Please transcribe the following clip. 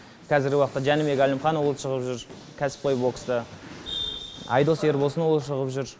қазіргі уақытта жәнібек әлімханұлы шығып жүр кәсіпқой бокста айдос ербосынұлы шығып жүр